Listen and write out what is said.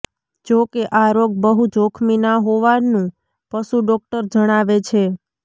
જોકે આ રોગ બહુ જોખમી ના હોવાનું પશુ ડોક્ટર જણાવે છે